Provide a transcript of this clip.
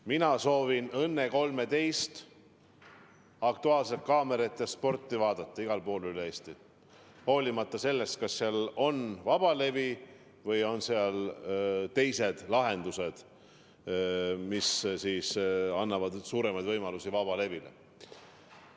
Mina soovin "Õnne 13", "Aktuaalset kaamerat" ja sporti vaadata igal pool üle Eesti, olenemata sellest, kas seal on vabalevi või teised lahendused, mis annavad suuremaid võimalusi vabalevile.